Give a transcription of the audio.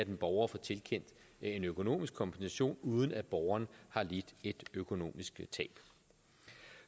en borger får tilkendt en økonomisk kompensation uden at borgeren har lidt et økonomisk tab